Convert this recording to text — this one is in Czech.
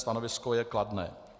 Stanovisko je kladné.)